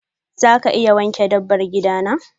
za ka iya wanke dabbar gida na?